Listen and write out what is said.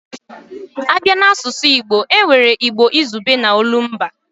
A bịa n'asụsụ Igbo, e nwere Igbo izugbe na olumba